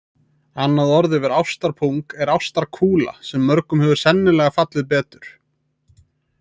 Annað orð þar yfir ástarpung er ástarkúla sem mörgum hefur sennilega fallið betur.